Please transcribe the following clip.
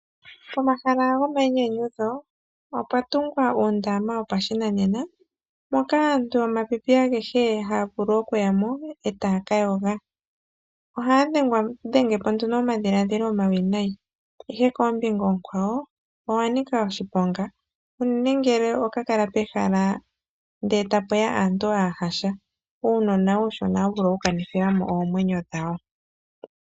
Pomahala gomainyanyudho opwa tungwa uundama wo pashinanena moka aantu yomapipi agehe haya vulu okuya mo etaya ka yoga, ohaya dhe ngepo nduno omadhiladhilo omawinayi. Ihe koombinga oonkwawo oga ni ka oshiponga unene ngele oga kala pehala ndele ta puya aantu aahasha, uunona uushona ohawu vulu oku kani thilamo omwenyo dhawo.